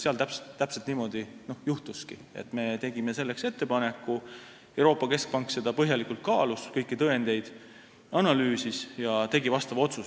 Seal täpselt niimoodi juhtuski – me tegime selleks ettepaneku, Euroopa Keskpank kaalus seda põhjalikult, analüüsis kõiki tõendeid ja tegi vastava otsuse.